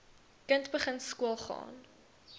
kind begin skoolgaan